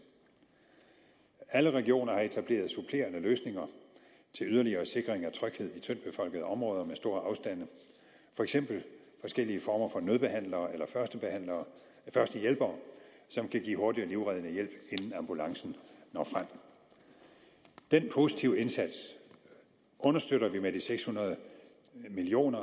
alle regioner har etableret supplerende løsninger til yderligere sikring af tryghed i tyndt befolkede områder med store afstande for eksempel forskellige former for nødbehandlere eller førstehjælpere som kan give hurtig og livreddende hjælp inden ambulancen når frem den positive indsats understøtter vi med de seks hundrede million